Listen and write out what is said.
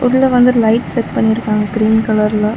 உள்ள வந்து light set பண்ணிருக்காங்க கிரீன் கலர்ல .